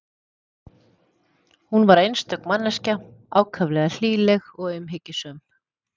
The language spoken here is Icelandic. Hún var einstök manneskja, ákaflega hlýleg og umhyggjusöm.